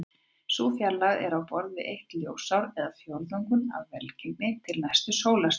Sú fjarlægð er á borð við eitt ljósár eða fjórðunginn af vegalengdinni til næstu sólstjörnu.